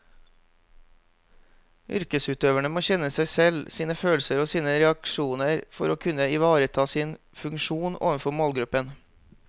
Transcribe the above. Yrkesutøverne må kjenne seg selv, sine følelser og sine reaksjoner for å kunne ivareta sin funksjon overfor målgruppen.